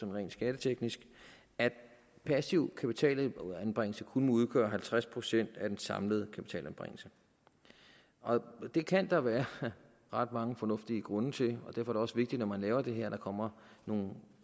rent skatteteknisk at passiv kapitalanbringelse kun må udgøre halvtreds procent af den samlede kapitalanbringelse det kan der være ret mange fornuftige grunde til og derfor er det også vigtigt når man laver det her at der kommer nogle